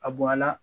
A bonya la